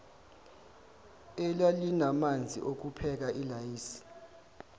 elalinamanzi okupheka ilayisi